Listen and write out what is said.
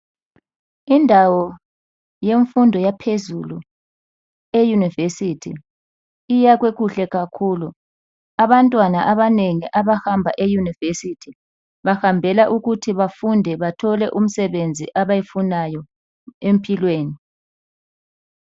Indawo yemfundo yaphezulu eUniversity iyakhwe kuhle kakhulu. Abantwana abanengi abahamba eUniversity bahambela ukuthi bafunde bathole umsebenzi abayifunayo empilweni.